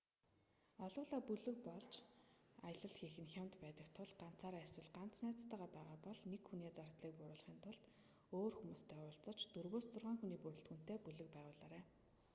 олуулаа бүлэг болж аялал хийх нь хямд байдаг тул та ганцаараа эсвэл ганц найзтайгаа байгаа бол нэг хүний зардлыг бууруулахын тулд өөр хүмүүстэй уулзаж дөрвөөс зургаан хүний ​​бүрэлдэхүүнтэй бүлэг байгуулаарай